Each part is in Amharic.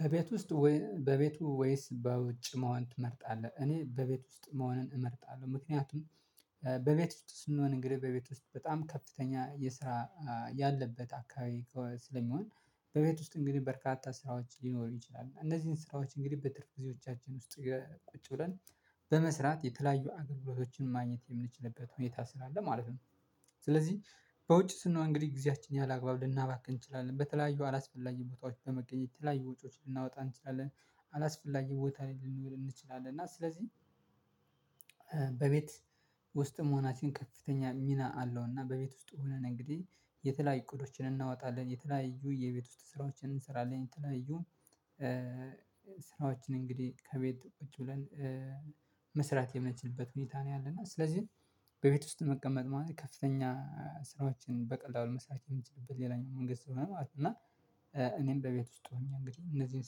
በቤት ውስጥ በቤቱ ወይስ በውጭ መሆን ትመርጣለህ? እኔ በቤት ውስጥ መሆንን እመርጣለሁ ምክንያቱም በቤት ውስጥ ስንሆን እንግዲህ በቤት ውስጥ በጣም ከፍተኛ የስራ ያለበት አካባቢ ስለሚሆን በቤት ውስጥ እንግዲህ በርካታ ስራዎች ሊኖሩ ይችላሉ እነዚህን ስራዎች እንግዲህ በትርፍ ጊዜዎቻችን ውስጥ ቁጭ ብለን በመስራት የተለያዩ አገልግሎቶችን ማግኘት የምንችልበት ሁኔታ ስላለ ማለት ነው። ስለዚህ በውጭ ስንሆን እንግዲህ ጊዜያችን ያላግባብ ልናባክን እንችላለን በተለያዩ አላስፈላጊ ቦታዎች በመገኘት የተለያዩ ወጪዎችን ልናወጣ እንችላለን አላስፈላጊ ቦታ ላይ ልንውል እንችላለን እና ስለዚህ በቤት ውስጥ መሆናችንን ከፍተኛ ሚና አለው። እና በቤት ውስጥ ሆነን እንግዲህ የተለያዩ እቅዶችን እናወጣለን የተለያዩ የቤት ውስጥ ስራዎችን እንሰራለን የተለያዩ ስራዎችን እንግዲህ ከቤት ቁጭ ብለን መስራት የምንችልበት ሁኔታ ነው ያለና ስለዚህ በቤት ውስጥ መቀመጥ ማለት ከፍተኛ ስራዎችን በቀላሉ መሳተፍ የሚችልበት ሌላኛው መንገድ ስለሆነ ማለት ነው። እና እኔም በቤት ውስጥ ሆኜ እንግዲህ እነዚህን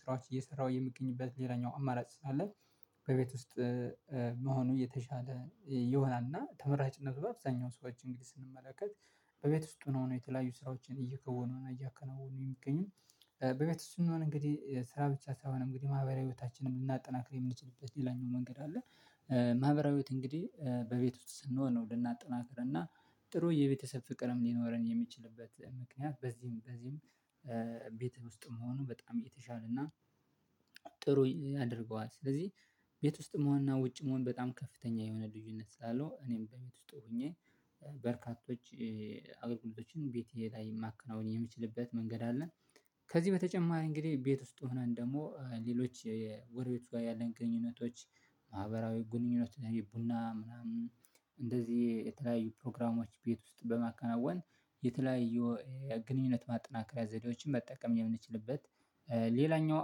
ስራዎች እየሰራሁ የምገኝበት ሌላኛው አማራጭ ስላለ በቤት ውስጥ መሆኑ የተሻለ ይሆናልና ተመራጭነት በአብዛኛው ሰዎች እንግዲህ ስንመለከት በቤት ውስጥ ሆኖ የተለያዩ ስራዎችን እየከወኑና እያከናወኑ የሚገኙ በቤት ውስጥ ስንሆን እንግዲህ ስራ ብቻ ሳይሆን እንግዲህ ማህበራዊ ቤታችንም ልናጠናክር የምንችልበት ሌላኛው መንገድ አለ። ማህበራዊ ሂወት እንግዲህ በቤት ውስጥ ስንሆን ነው ልናጠናክር እና ጥሩ የቤተሰብ ፍቅርም ሊኖረን የሚችልበት ምክንያት በዚህም በዚህም ቤት ውስጥም መሆኑ በጣም የተሻለና ጥሩ ያደርገዋል። ስለዚህ ቤት ውስጥም ዋና ውጭም ዋና በጣም ከፍተኛ የሆነ ልዩነት ስላለው እኔም በቤት ውስጥ ሆኜ በርካቶች አገልግሎቶችን ቤቴ ላይ ማከናወን የምችልበት መንገድ አለን። ከዚህ በተጨማሪ እንግዲህ ቤት ውስጥ ሆነን ደግሞ ሌሎች የጎረቤቱ ጋር ያለን ግንኙነቶች ማህበራዊ ግንኙነት ቡና ምናምን እንደዚህ የተለያዩ ፕሮግራሞች ቤት ውስጥ በማከናወን የተለያዩ ግንኙነት ማጠናከሪያ ዘዴዎችን መጠቀም የምንችልበት ሌላኛው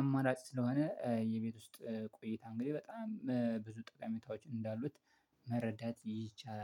አማራጭ ስለሆነ የቤት ውስጥ ቆይታ እንግዲህ በጣም ብዙ ጠቃሚታዎች እንዳሉት መረዳት ይቻላል